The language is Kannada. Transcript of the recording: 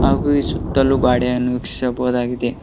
ಹಾಗು ಈ ಸುತ್ತಲು ಗಾಡೆಯನ್ನು ವೀಕ್ಷಿಸಬಹುದಾಗಿದೆ.